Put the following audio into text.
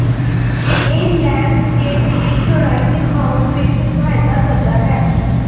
ਇਹ ਲੈਂਡਸਕੇਪ ਦੀ ਚੌੜਾਈ ਦਿਖਾਉਣ ਵਿੱਚ ਸਹਾਇਤਾ ਕਰਦਾ ਹੈ